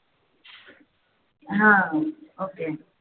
हा okay